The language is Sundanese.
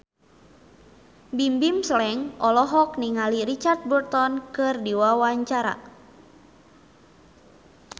Bimbim Slank olohok ningali Richard Burton keur diwawancara